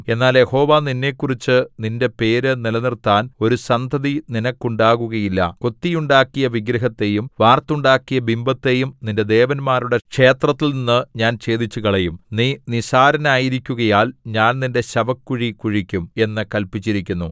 എന്നാൽ യഹോവ നിന്നെക്കുറിച്ച് നിന്റെ പേര് നിലനിർത്താൻ ഒരു സന്തതി നിനക്കുണ്ടാകുകയില്ല കൊത്തിയുണ്ടാക്കിയ വിഗ്രഹത്തെയും വാർത്തുണ്ടാക്കിയ ബിംബത്തെയും നിന്റെ ദേവന്മാരുടെ ക്ഷേത്രത്തിൽനിന്ന് ഞാൻ ഛേദിച്ചുകളയും നീ നിസ്സാരനായിരിക്കുകയാൽ ഞാൻ നിന്റെ ശവക്കുഴി കുഴിക്കും എന്ന് കല്പിച്ചിരിക്കുന്നു